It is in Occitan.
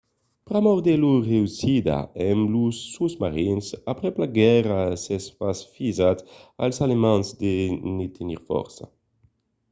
pr'amor de lor reüssida amb los sosmarins aprèp la guèrra s'es pas fisat als alemands de ne tenir fòrça